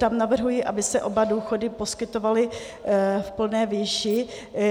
Tam navrhuji, aby se oba důchody poskytovaly v plné výši.